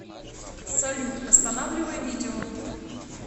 салют останавливай видео